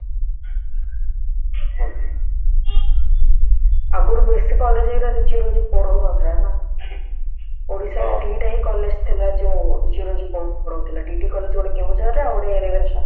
ଆଗରୁ ବେଶୀ college ଗୁଡା geology ପଢଉନଥିଲେ ନା ଓଡିଶାରେ ଦିଟା ହିଁ college ଥିଲା ଯୋଉ geology ପଢଉଥିଲା ଯୋଉ DD college ଗୋଟେ କେଉଁଝରରେ ଆଉ ଗୋଟେ ravenshaw